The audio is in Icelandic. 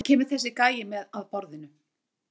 Hvað kemur þessi gæi með að borðinu?